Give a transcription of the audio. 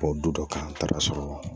Bɔ du dɔ kan n taara sɔrɔ